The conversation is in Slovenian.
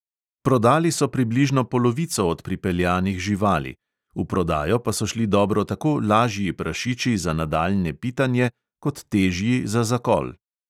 Prodali so približno polovico od pripeljanih živali, v prodajo pa so šli dobro tako lažji prašiči za nadaljnje pitanje kot težji za zakol.